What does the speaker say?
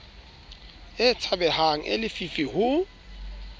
a tshabehang a lefifi ho